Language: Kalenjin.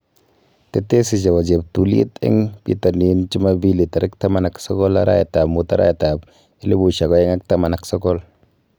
Tesesi chebo cheptulit eng bitonin chumabili 19.05.2019